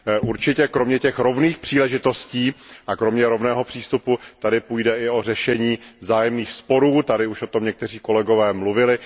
Určitě kromě těch rovných příležitostí a kromě rovného přístupu tady půjde i o řešení vzájemných sporů, už o tom někteří kolegové mluvili.